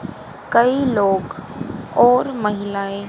कई लोग और महिलाएं--